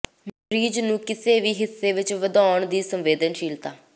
ਮਰੀਜ਼ ਨੂੰ ਕਿਸੇ ਵੀ ਹਿੱਸੇ ਵਿੱਚ ਵਧਾਉਣ ਦੀ ਸੰਵੇਦਨਸ਼ੀਲਤਾ